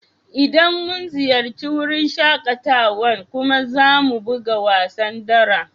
Idan mun ziyace wurin shakatawan kuma za mu buga wasan dara